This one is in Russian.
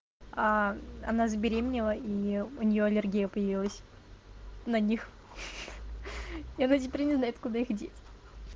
она забеременела и у неё аллергия появилась на них хи-хи и она теперь не знает куда их деть